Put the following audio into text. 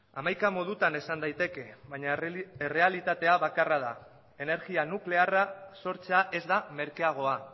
hamaika modutan esan daiteke baina errealitatea bakarra da energia nuklearra sortzea ez da merkeagoa